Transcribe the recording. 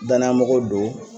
danaya mɔgɔw don